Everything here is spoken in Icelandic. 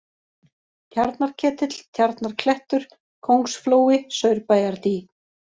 Tjarnarketill, Tjarnarklettur, Kóngsflói, Saurbæjardý